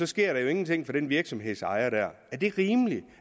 sker der jo ingenting for den virksomhedsejer er det rimeligt